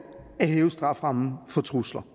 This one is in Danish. at hæve strafferammen for trusler